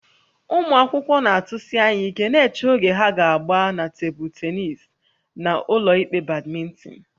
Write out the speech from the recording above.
Ụmụ akwụkwọ na-atụsi anya ike na-eche oge ha ga-agba na tebụl tennis na ụlọikpe badminton